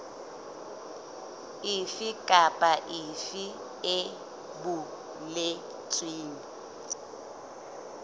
efe kapa efe e boletsweng